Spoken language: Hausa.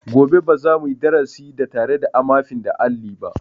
Gobe ba za mu yi darasi da tare da amafin da alli ba.